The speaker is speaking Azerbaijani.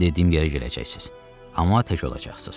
Mən dediyim yerə gedəcəksiniz, amma tək olacaqsınız.